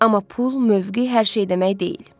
Amma pul, mövqüe hər şey demək deyil.